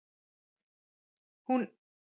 Hún ein hafði rétt fyrir sér.